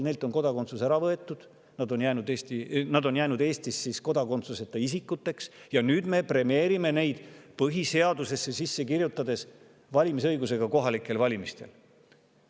Neilt on kodakondsus ära võetud, nad on jäänud Eestis kodakondsuseta isikuteks ja nüüd me premeerime neid, kirjutades põhiseadusesse sisse valimisõiguse kohalikel valimistel.